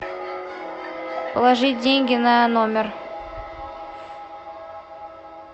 положить деньги на номер